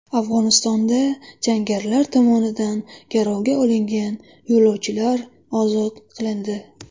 Afg‘onistonda jangarilar tomonidan garovga olingan yo‘lovchilar ozod qilindi.